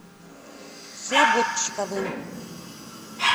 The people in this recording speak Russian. слободчиковым